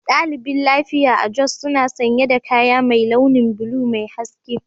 Daliɓin lafiƴa a jos suna sanya da ƙayan mai launin bula Mai hasƙe.